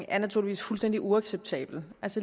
er naturligvis fuldstændig uacceptabel